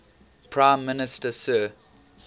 prime minister sir